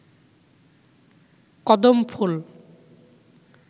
কদম ফুল